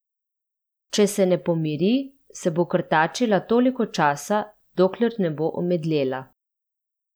Če se ne pomiri, se bo krtačila toliko časa, dokler ne bo omedlela.